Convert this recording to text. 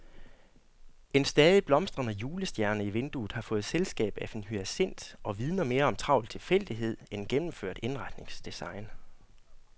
En stadig blomstrende julestjerne i vinduet har fået selskab af en hyacint og vidner mere om travl tilfældighed end gennemført indretningsdesign.